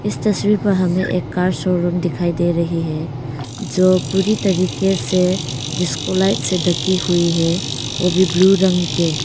इस तस्वीर पर हमें एक कार शोरूम दिखाई दे रही है जो पूरी तरीके से जिसको लाइट से ढकी हुई है वो भी ब्लू रंग के।